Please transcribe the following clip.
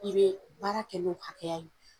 I bɛ baara kɛ n'o hakɛya ye